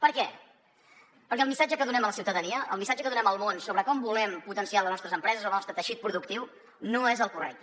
per què perquè el missatge que donem a la ciutadania el missatge que donem al món sobre com volem potenciar les nostres empreses el nostre teixit productiu no és el correcte